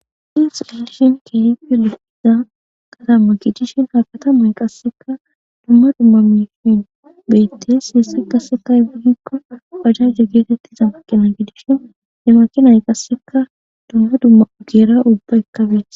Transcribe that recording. hiis olishin keehipe litida katama gidishin hakatamay qasseka dumma dumma mishin beyittes heesse qasseka hygugikko pajanche geetettiza makkina gidishin he makinay qasseka dumma dumma ugeera ubba ekkabiti